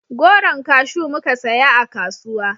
Goron kashu muka saya a kasuwa